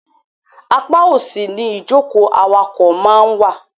Apá òsì ni ìjókòó awakọ̀ máa ń wà.